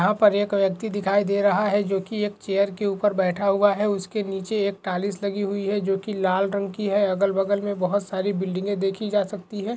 यहाँ पर एक व्यक्ति दिखाई दे रहा है जो की एक चेयर के ऊपर बेठा हुआ है और उसके निचे एक टाइल्स लगी हुई है जो की लाल रंग की है और अगल बगल में बहुत सी बिल्डिंगे देखि जा सकती है।